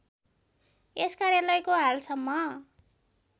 यस कार्यालयको हालसम्म